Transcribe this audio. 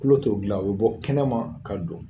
Tulo t'o dilan, o be bɔ kɛnɛma ka don.